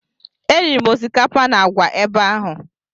Eriri m osikapa na àgwà ebe ahụ.